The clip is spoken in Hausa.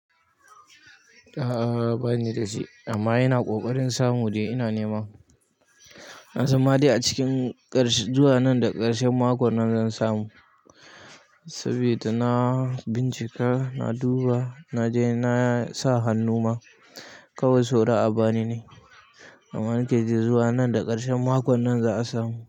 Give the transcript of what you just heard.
A'a, bani da shi amma ina ƙoƙarin samu dai ina nema. Na san ma dai a cikin ƙarshe, zuwa nan da ƙarshen makon nan zan samu. Saboda na bincika, na duba, na je na sa hannu ma kawai saura a bani ne. Amma nake ji da zuwa nan da ƙarshen makon nan za a samu.